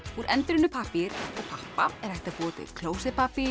úr endurunnum pappír og pappa er hægt að búa til klósettpappír